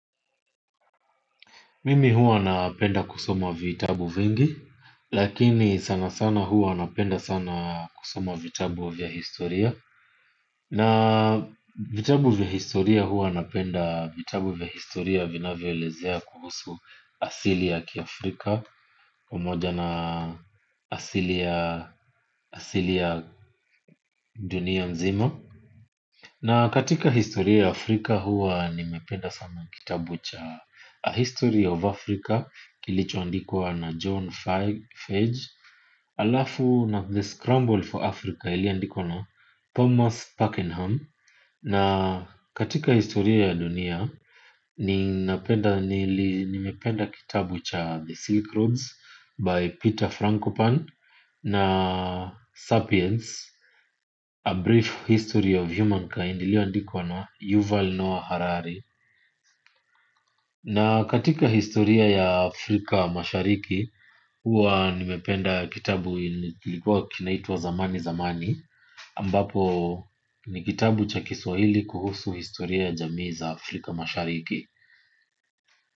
Mimi huwa napenda kusoma vitabu vingi, lakini sana sana huwa napenda sana kusoma vitabu vya historia. Na vitabu vya historia huwa napenda vitabu vya historia vinavyoelezea kuhusu asili ya kiafrika, pamoja na asili ya dunia mzima. Na katika historia ya Afrika huwa nimependa sana kitabu cha 'A History of Africa' kilichoandikwa na John Fage. Halafu na 'The Scramble for Africa' iliyoandikwa na Thomas Parkenham. Na katika historia ya dunia, nimependa kitabu cha 'The Silk Roads' by Peter Frankopan na 'Sapiens A Brief History of Humankind' iliyoandikwa na Yuval Noah Harari. Na katika historia ya Afrika mashariki, huwa nimependa kitabu ilikuwa kinaitwa 'Zamani Zamani' Ambapo ni kitabu cha kiswahili kuhusu historia ya jamii za Afrika mashariki.